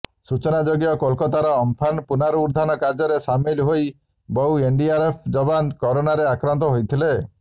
ସୂଚନାଯୋଗ୍ୟ କୋଲକାତାର ଅମ୍ଫାନ ପୁନରୁଦ୍ଧାର କାର୍ଯ୍ୟରେ ସାମିଲ ହୋଇ ବହୁ ଏନଡିଆରଏଫ୍ ଯବାନ କରୋନାରେ ଆକ୍ରାନ୍ତ ହୋଇଥିଲେ